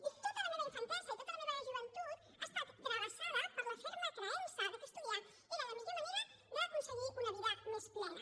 i tota la meva infantesa i tota la meva joventut ha estat travessada per la ferma creença que estudiar era la millor manera d’aconseguir una vida més plena